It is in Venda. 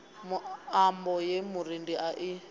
muambo ye murendi a i